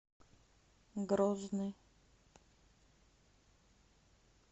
грозный